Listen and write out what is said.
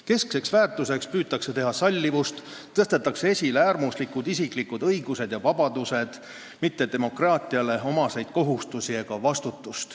Keskseks väärtuseks püütakse teha sallivust ning esile tõstetakse äärmuslikud isiklikud õigused ja vabadused, mitte demokraatiale omased kohustused ega vastutus.